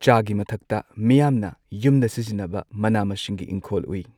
ꯆꯥꯒꯤ ꯃꯊꯛꯇ ꯃꯤꯌꯥꯝꯅ ꯌꯨꯝꯗ ꯁꯤꯖꯤꯟꯅꯕ ꯃꯅꯥ ꯃꯁꯤꯡꯒꯤ ꯏꯪꯈꯣꯜ ꯎꯏ